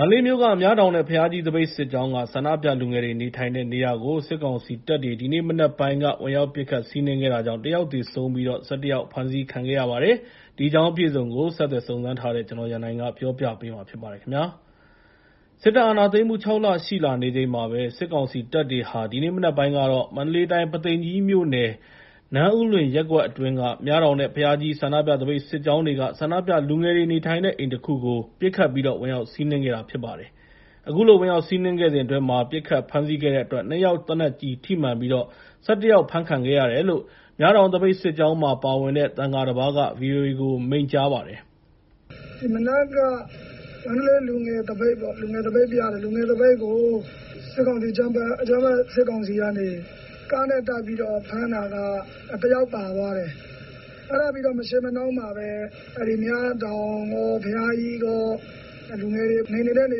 န္တလေးမြို့က မြတောင်နဲ့ ဘုရားကြီးသပိတ်စစ်ကြောင်းက ဆန္ဒပြလူငယ်တွေနေထိုင်တဲ့ နေရာကို စစ်ကောင်စီတပ်တွေ ဒီနေ့မနက်ပိုင်းက ဝင်ရောက်ပစ်ခတ် စီးနင်းခဲ့တာကြောင် တယောက် သေဆုံးပြီး ၁၁ ယောက် ဖမ်းဆီးခံခဲ့ရပါတယ်။ ဒီအကြောင်းအပြည့်အစုံကို ကိုရန်နိုင်က ဆက်သွယ်မေးမြန်း တင်ပြထားပါတယ်။ စစ်တပ်က အာဏာသိမ်းမှု ၆ လ ရှိလာနေချိန်မှာပဲ စစ်ကောင်စီတပ်တွေဟာ ဒီနေ့မနက်ပိုင်းက မန္တလေးတိုင်း ပုသိမ်ကြီးမြို့နယ် နန်းဦးလွင်ရပ်ကွက်အတွင်းက မြတောင်နဲ့ ဘုရားကြီး ဆန္ဒပြသပိတ်စစ်ကြောင်းတွေက ဆန္ဒပြလူငယ်တွေ နေထိုင်တဲ့နေအိမ်တခုကို ပစ်ခတ်ပြီးတော့ ဝင်ရောက်စီးနင်းခဲ့တာဖြစ်ပါတယ်။ အခုလို ဝင်ရောက်စီးနင်းခဲ့စဉ်အတွင်း ပစ်ခတ်ဖမ်းဆီးခဲ့တဲ့အတွက် နှစ်ယောက် သေနတ်ကျည်ထိမှန်ပြီး ၁၁ ယောက် ဖမ်းခံရတယ်လို့ မြတောင်သပိတ်စစ်ကြောင်းမှာပါဝင်တဲ့ သံဃာတပါးက ဗီအိုအေကို မိန့် ကြားပါတယ်။ မနက်က မန္တလေးလူငယ်သပိတ် ဆန္ဒပြတယ်။ အဲဒီဆန္ဒပြတာကို စစ်ကောင်စီတပ်တွေဘက်က ကားနဲ့တိုက်ပြီး ဖမ်းတာက တယောက် ပါသွားတယ်။ အဲဒါပြီးတော့ မရှေးမနှောင်းမှာပဲ မြတောင်ရော၊ ဘုရားကြီးရော လူငယ်တွေနေနေတဲ့နေ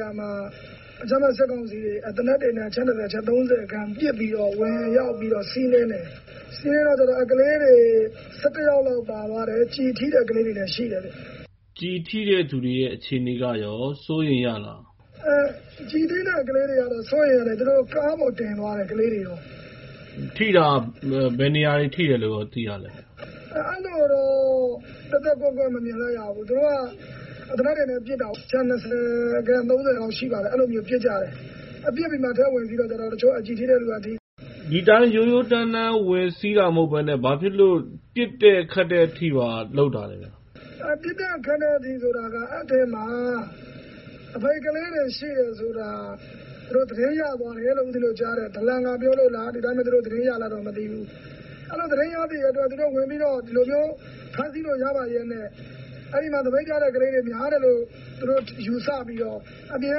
ရာမှာ စစ်ကောင်စီတပ်တွေဘက်က အချက် ၂၀ ၊ ၃၀ ခန့်လောက်နဲ့ပစ်ပြီးတော့ ဝင်ရောက်စီးနင်းတယ်။ စီးနင်းတော့ ကလေးတွေ ၁၁ ယောက် လောက်ပါသွားတယ်။ ကျည်ထိတဲ့ ကလေးတွေလည်းရှိတယ်။ ကျည်ထိတဲ့သူတွေရဲ့ အခြေအနေကရော ဘယ်လိုနေလဲ။ စိုးရိမ်ရလား။ ကျည်ထိတဲ့ ကလေးတွေကတော့ စိုးရိမ်ရတယ်။ သူတို့က ကလေးတွေကို ကားပေါ်တင်သွားတယ်။ ကျည်ဆန်ထိတာ ဘယ်နေရာတွေထိတယ်လို့ရော သိပါသလဲ။ အဲဒီလိုတော့ သဲသဲကွဲကွဲမမြင်လိုက်ရဘူး။ သူတို့က သေနတ်တွေနဲ့ပစ်တာ အချက် ၂၀ ၊ ၃၀ လောက်ရှိတယ်။ အဲဒီလိုပစ်ကြတယ်။ ပစ်ပြီးတော့မှ သူတို့က အထဲဝင်စီးတော့ ကျည်ထိတဲ့သူတွေထိပါတယ်။ ဒီအတိုင်း ရိုးရိုးတန်းတန်း ဝင်စီးတာမဟုတ်ဘဲနဲ့ ဘာဖြစ်လို့ ပစ်ခတ်တဲ့အထိပါ လုပ်တာလဲ။ ပစ်တဲ့ခတ်တဲ့အထိ ဖြစ်တယ်ဆိုတာ၊ အဲဒီအထဲမှာ ဆန္ဒပြသပိတ်က ကလေးတွေရှိတယ်လို့ သူတို့ သတင်းရသွားတယ်လို့ ဦးပဉ္ဖင်းတို့ကြားတယ်။ ဒလန်ကပြောလို့လား။ သူတို့ ဒီအတိုင်းပဲ သတင်းရလားတော့ မသိဘူး။ အဲဒီလိုသတင်းရတော့ သူတို့ ဒီလိုမျိုး ဖမ်းဆီးလို့ရပါလျက်နဲ့ အဲဒီမှာဆန္ဒပြတဲ့သူတွေများတယ်လို့ ယူဆပြီးတော့ အပြင်က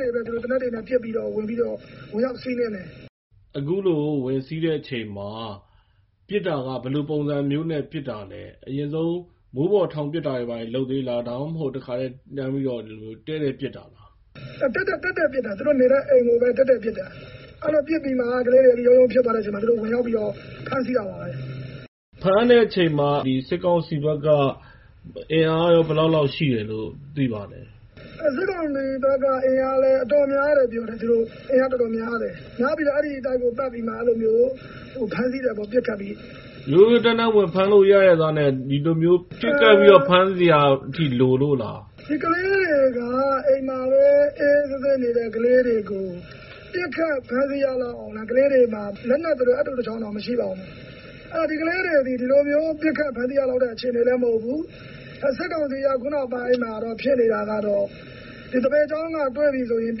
နေပြီးတော့ သေနတ်တွေနဲ့ ပစ်ပြီးတော့ ဝင်ရောက်စီးနင်းတယ် ။ အခုလို ဝင်စီးတဲ့အချိန်မှာ ပစ်တာက ဘယ်လိုပုံစံမျိုးပစ်တာလဲ။ အရင်ဆုံး မိုးပေါ်ထောင်ပစ်တာတွေလုပ်သေးလား။ ဒါမှမဟုတ် တခါတည်း တန်းပြီးတော့ တည့်တည့်ပစ်တာလား။ တည့်တည့်ပစ်တာ။ အဲဒီလိုပစ်ပြီးတော့မှ ကလေးတွေ ရုန်းရုန်း၊ ရုန်းရုန်းဖြစ်သွားတဲ့အချိန်မှာ သူတို့ဖမ်းဆီးတာပါပဲ။ ဖမ်းတဲ့အချိန်မှာ စစ်ကောင်စီဘက်က အင်အားရော ဘယ်လောက်လောက်ရှိတယ်လို့သိပါသလဲ။ စစ်ကောင်စီဘက်ကလည်း အင်အားတော်တော်များတယ်။ များပြီးတော့ အဲဒီတိုက်ကို ပတ်ပြီးတော့မှ ပစ်ခတ်ဖမ်းဆီးတာ။ ရိုးရိုးတန်းတန်း ဝင်ဖမ်းလို့ရလျှက်သားနဲ့ ဒီလိုမျိုး ပစ်ခတ်ပြီးတော့ ဖမ်းဆီးစရာလိုလို့လား။ ဒီကလေးတွေက အိမ်မှာပဲ အေးအေးဆေးဆေးနေတဲ့ကလေးတွေကို ပစ်ခတ်ဖမ်းဆီးရလောက်အောင် ဒီကလေးတွေမှာ လက်နက်ဆိုလို အပ်တိုတချောင်းတောင်မရှိပါဘူး။ အဲဒီတော့ ဒီကလေးတွေသည် ဒီလိုမျိုးပစ်ခတ်ဖမ်းဆီးရလောက်တဲ့အခြေအနေလည်း မဟုတ်ဘူး။ စစ်ကောင်စီက အခုနောက်ပိုင်းမှာဖြစ်နေတာကတော့ ဆန္ဒပြသပိတ်စစ်ကြောင်းတွေပြီဆိုရင်၊ ပ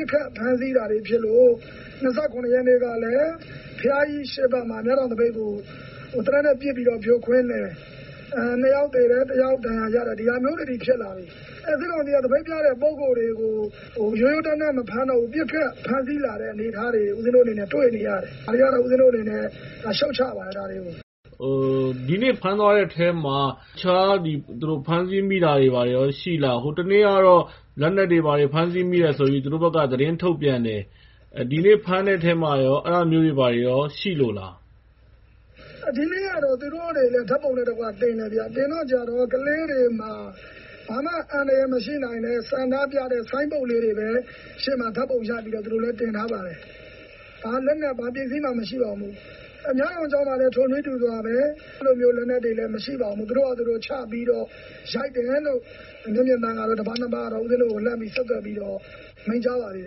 စ်ခတ်ဖမ်းဆီးတာတွေဖြစ်သလို ၂၇ ရက်နေ့ကလည်း ဘုရားကြီး အရှေ့ဘက်မှာ မြတောင်သပိတ်ကို သေနတ်နဲ့ပစ်ပြီးတော့ ဖြိုခွင်းတယ်။ ၂ ယောက် သေဆုံးတယ်။ ၁ ယောက် ဒဏ်ရာရတယ်။ ဒါမျိုးတွေအထိဖြစ်လားတယ်။ အဲဒီလိုဖြစ်လာပြီးတော့ ဆန္ဒပြသပိတ်မှာပါတဲ့ ပုဂ္ဂိုလ်တွေကို ရိုးရိုးတန်းတန်း မဖမ်းတော့ဘူး ပစ်ခတ်ဖမ်းဆီးလာတဲ့ အနေအထားတွေကို ဦးပဉ္ဖင်းတို့ တွေ့လာရတယ်။ ဒါတွေကတော့ ဦးပဉ္ဖင်းတို့အနေနဲ့ ရှုတ်ချပါတယ်။ ဒီနေ့ဖမ်းသွားတဲ့အထဲမှာ တခြားဖမ်းဆီးမိတာတွေရောရှိသလား။ ဟိုတနေ့ကတော့ လက်နက်တွေဘာတွေ ဖမ်းဆီးမိတယ်ဆိုပြီး သူတို့ဘက်က သတင်းထုတ်ပြန်တယ်။ ဒီနေ့ဖမ်းဆီးမိတဲ့အထဲမှာရော အဲဒါမျိုးတွေရော ရှိလိုလား။ ဒီနေ့ကတော့ သူတို့တွေလည်း ဓါတ်ပုံနဲ့တကွတင်တယ်။ တင်တဲ့အခါကျတော့ ကလေးတွေမှာ ဘာမှအန္တရာယ်မရှိနိုင်တဲ့ ဆန္ဒပြတဲ့ ဆိုင်းဘုတ်လေးတွေပဲ ရှေ့မှာချပြီးတော့ သူတို့လည်း တင်ထားပါတယ်။ ဘာလက်နက် ဘာပစ္စည်းမှ မရှိပါဘူး။ မြတောင်ကျောင်းမှာလည်း ထိုနည်းတူစွာပဲ၊ အဲဒီလိုမျိုးလက်နက်တွေလည်းမရှိပါဘူး။ သူတို့ဘာသာသူတို့ ချပြီးတော့ ရိုက်တယ်လို့ မျက်မြင်သံဃာတော်တပါး နှစ်ပါးကတော့ ဦးပဉ္ဖင်းတို့ကို လှမ်းဆက်သွယ်ပြီးတော့ မိန့်ကြားပါတယ်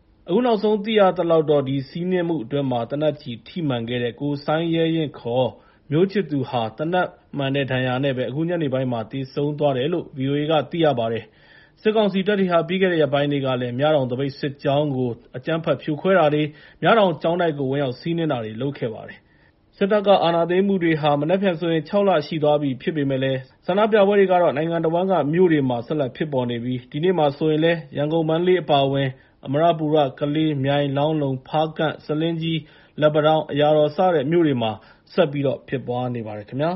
။ အခုနောက်ဆုံးသိရသလောက်တော့ ဒီစီးနင်းမှုအတွင်းမှာ သေနတ်ကျည်ထိမှန်ခဲ့တဲ့ ကိုစိုင်းရဲရင့် မျိုးချစ်သူဟာ သေနတ်မှန်တဲ့ဒဏ်ရာနဲ့ အခုညနေပိုင်းမှာ သေဆုံးသွားတယ်လို့ ဗီအိုအေက သိရပါတယ်။ စစ်ကောင်စီတပ်တွေဟာ ပြီးခဲ့တဲ့ရက်ပိုင်းတွေကလည်း မြတောင်သပိတ်စစ်ကြောင်းကို အကြမ်းဖက်ဖြိုခွဲတာတွေ၊ မြတောင်ကျောင်းတိုက်ကို ဝင်ရောက်စီးနင်းတာတွေလုပ်ခဲ့ပါတယ်။ စစ်တပ်က အာဏာသိမ်းမှုတွေ မနက်ဖြန်ဆိုရင် ၆ လ ရှိသွားပြီဖြစ်ပေမယ့်လည်း ဆန္ဒပြပွဲတွေက နိုင်ငံတဝန်းက မြို့တွေမှာ ဆက်လက်ဖြစ်ပေါ်နေပြီး ဒီနေ့မှာတော့ ရန်ကုန် နဲ့ မန္တလေးအပါအဝင်၊ အမရပူရ၊ ကလေး၊ မြိုင်၊ လောင်းလုံ၊ ဖားကန့် ၊ ဆားလင်ကြီး၊ လက်ပံတောင်း၊ အရာတော် စတဲ့မြို့တွေမှာလည်း ဆက်ပြီးတော့ ဖြစ်ပွားနေပါတယ်ခင်ဗျာ